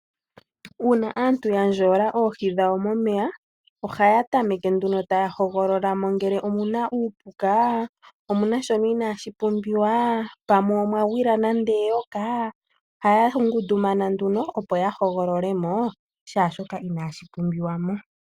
Uuna aantu ya ndjola oohi dhawo momeya, ohaya tameke nduno taya hogolola mo ngele omu na uupuka, omu na shono inaashi pumbiwa, pamwe omwa gwila nande eyoka, ohaya ngundumana nduno opo ya hogolole mo shaashoka inaashi pumbiwa mo.